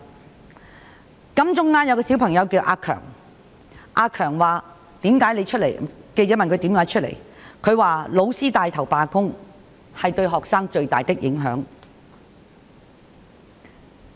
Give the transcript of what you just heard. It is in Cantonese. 記者在金鐘問一位叫"阿強"的小朋友為何出來，他說："老師帶頭罷工，是對學生最大的影響"。